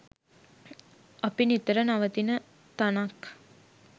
අපි නිතර නවතින තනක්